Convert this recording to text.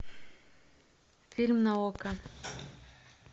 фильм на окко